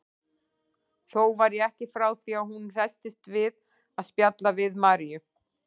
Þó var ég ekki frá því að hún hresstist við að spjalla við Maríu.